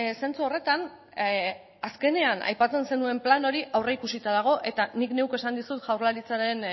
zentzu horretan azkenean aipatzen zenuen plan hori aurreikusita dago eta nik neuk esan dizut jaurlaritzaren